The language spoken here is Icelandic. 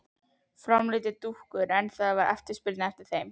Ég framleiði dúkkur en ekki eftirspurn eftir þeim.